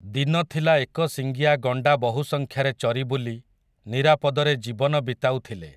ଦିନଥିଲା ଏକ ଶିଙ୍ଗିଆ ଗଣ୍ଡା ବହୁସଂଖ୍ୟାରେ ଚରିବୁଲି, ନିରାପଦରେ ଜୀବନ ବିତାଉଥିଲେ ।